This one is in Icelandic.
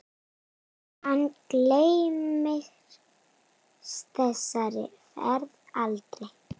Hann gleymir þessari ferð aldrei.